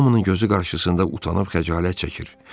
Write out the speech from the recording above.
Hamının gözü qarşısında utanıb xəcalət çəkir.